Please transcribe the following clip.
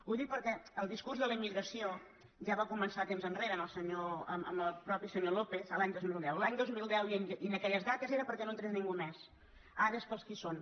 ho dic perquè el discurs de la immigració ja va comen·çar temps enrere amb el mateix senyor lópez l’any dos mil deu l’any dos mil deu i en aquelles dates era perquè no entrés ningú més ara és per als que hi són